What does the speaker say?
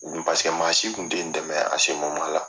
paseke maa si tun tɛ n dɛmɛ